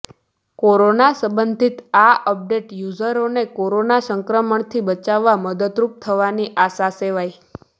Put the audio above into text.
corona સમ્બન્ધિત આ update યુઝરને કોરોના સંક્રમણથી બચાવવા મદદરૂપ થવાની આશા સેવાઈ